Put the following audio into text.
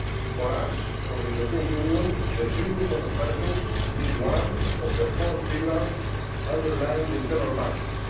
For us for the European Union the free movement of persons is one of the four pillars underlying the internal market.